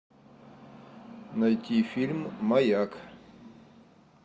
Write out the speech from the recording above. найти фильм маяк